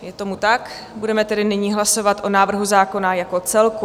Je tomu tak, budeme tedy nyní hlasovat o návrhu zákona jako celku.